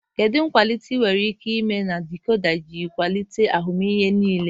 Kedu nkwalite enwere ike ime na dikoda iji kwalite ahụmịhe nlele?